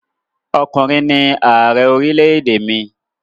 Ọkùnrin ni ààrẹ orílẹ̀-èdè mi.